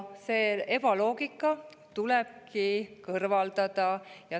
See ebaloogika tulebki kõrvaldada.